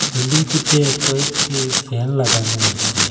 বিল্ডিংটিতে কয়েকটি ফ্যান লাগানো আছে।